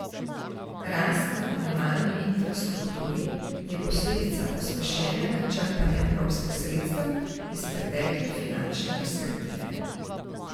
Rast na komunalni infrastrukturi je posledica pospešenega črpanja evropskih sredstev iz pretekle finančne perspektive.